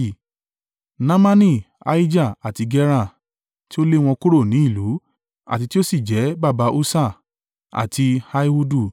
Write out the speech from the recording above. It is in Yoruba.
Naamani Ahijah àti Gera, tí ó lé wọn kúrò ní ìlú, àti tí ó sì jẹ́ baba Ussa àti Ahihudu.